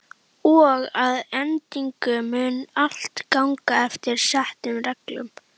Og að endingu mun allt ganga eftir settum reglum.